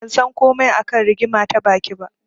Ban san komai a kan rigima ta baki ba.